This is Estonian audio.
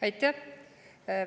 Aitäh!